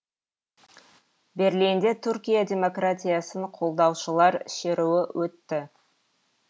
берлинде түркия демократиясын қолдаушылар шеруі өтті